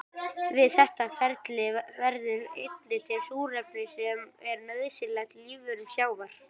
Við þetta ferli verður einnig til súrefni sem er nauðsynlegt lífverum sjávar.